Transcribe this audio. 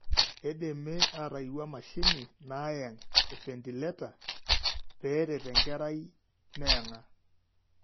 Keidimi aatayiewua emashini naayang' (Efentileta) peeret enkerai meyang'a.